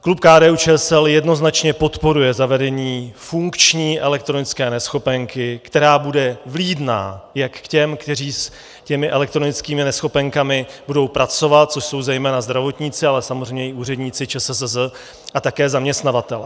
Klub KDU-ČSL jednoznačně podporuje zavedení funkční elektronické neschopenky, která bude vlídná jak k těm, kteří s těmi elektronickými neschopenkami budou pracovat, což jsou zejména zdravotníci, ale samozřejmě i úředníci ČSSZ a také zaměstnavatelé.